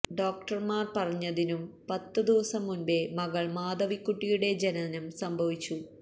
ഡോക്ടര്മാര് പറഞ്ഞതിനും പത്ത് ദിവസം മുന്പേ മകള് മാധവിക്കുട്ടിയുടെ ജനനം സംഭവിച്ചു